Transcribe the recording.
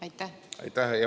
Aitäh!